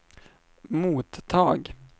mottag